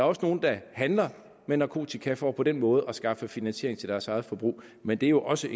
også nogle der handler med narkotika for på den måde at skaffe finansiering til deres eget forbrug men det er jo også